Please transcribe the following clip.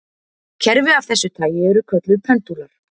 Kerfi af þessu tagi eru kölluð pendúlar.